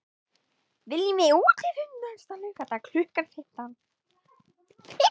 Viljum við útifund næsta laugardag klukkan fimmtán?